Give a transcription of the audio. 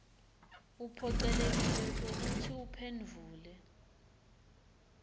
uphocelekile kwekutsi uphendvule